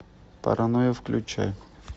паранойя включай